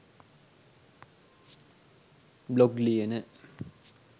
blog ලියන